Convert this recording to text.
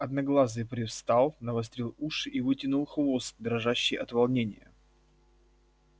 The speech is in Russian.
одноглазый привстал навострил уши и вытянул хвост дрожащий от волнения